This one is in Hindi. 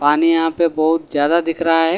पानी यहां पे बहोत ज्यादा दिख रहा हैं।